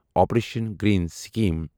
operation greens scheme